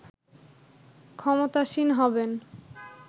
ক্ষমতাসীন হবেন